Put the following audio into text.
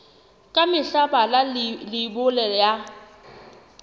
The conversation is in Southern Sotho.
ka mehla bala leibole ya